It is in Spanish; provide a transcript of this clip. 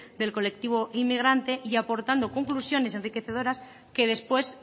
del colectivo inmigrante y aportando conclusiones enriquecedoras que después